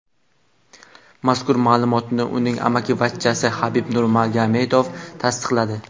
Mazkur ma’lumotni uning amakivachchasi Habib Nurmagomedov tasdiqladi .